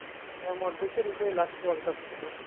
হ্যাঁ এটা last world cup ছিল।